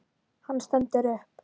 Hann stendur upp.